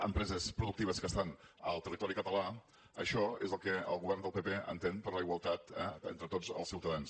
empreses productives que estan en el territori català això és el que el govern del pp entén per la igualtat eh entre tots els ciutadans